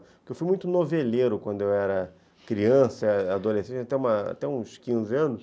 Porque eu fui muito noveleiro quando eu era criança, adolescente, até uma até uns quinze anos.